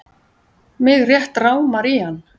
Mig rétt rámar í hann.